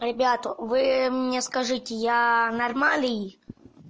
ребята вы мне скажите я нормальный